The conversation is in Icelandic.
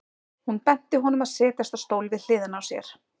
Hún benti honum að setjast á stól við hliðina á sér.